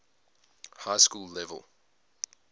high school level